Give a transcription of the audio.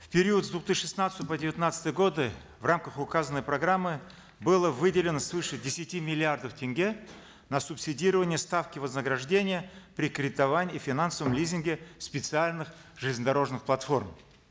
в период с две тысячи шестнадцатого по девятнадцатый годы в рамках указанной программы было выделено свыше десяти миллиардов тенге на субсидирование ставки вознаграждения при кредитовании и финансовом лизинге специальных железнодорожных платформ